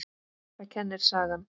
Það kennir sagan.